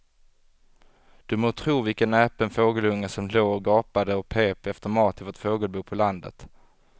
Du må tro vilken näpen fågelunge som låg och gapade och pep efter mat i vårt fågelbo på landet.